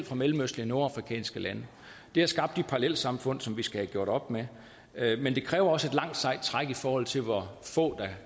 fra mellemøstlige og nordafrikanske lande det har skabt de parallelsamfund som vi skal have gjort op med men det kræver også et langt sejt træk i forhold til hvor få der